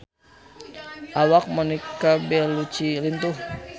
Awak Monica Belluci lintuh